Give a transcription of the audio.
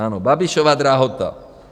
Ano, Babišova drahota.